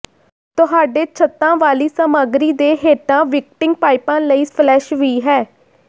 ਤੁਹਾਡੇ ਛੱਤਾਂ ਵਾਲੀ ਸਾਮੱਗਰੀ ਦੇ ਹੇਠਾਂ ਵਿਕਟਿੰਗ ਪਾਈਪਾਂ ਲਈ ਫਲੈਸ਼ ਵੀ ਹੈ